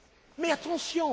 de parti. Mais